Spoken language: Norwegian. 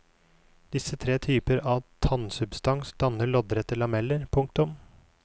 Disse tre typer av tannsubstans dannet loddrette lameller. punktum